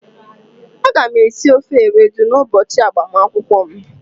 Aga m esi ofe Ewedu n'ụbọchị agbamakwụkwọ m.